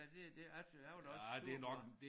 Ja det det jeg jeg var da også sur på ham